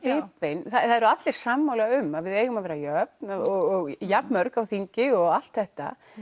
bitbein það eru allir sammála um að við eigum að vera jöfn og jafnmörg á þingi og allt þetta